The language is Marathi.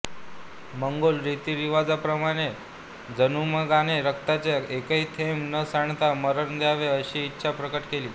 मंगोल रीतीरिवाजांप्रमाणे जमुगाने रक्ताचा एकही थेंब न सांडता मरण द्यावे अशी इच्छा प्रकट केली